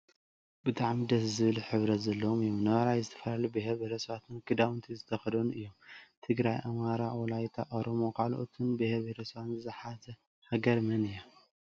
ብጣዕሚ ደስ ዝብል ሕብረት ዘለዎም እዮም። ነባይ ዝተፈላለዩ ብሄረ ብሄረሰባት ክዳውንቲ ዝተከደኑ እዮም። ትግራይ ፣ኣማራ፣ ወላይታ፣ ኦሮሞ ካልኦትን ብሄራት ሰብስባ ዝሓዘት ሃገር መን እያ?